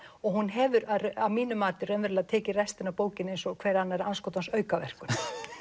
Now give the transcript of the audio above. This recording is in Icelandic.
og hún hefur að mínu mati raunverulega tekið restina af bókinni eins og hverri annarri andskotans aukaverkun